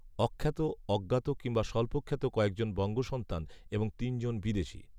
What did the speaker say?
অখ্যাত অজ্ঞাত কিংবা স্বল্পখ্যাত কয়েকজন বঙ্গসন্তান এবং তিনজন বিদেশি